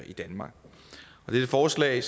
i danmark og dette forslag